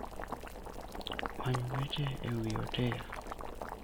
Many weche e wi otel.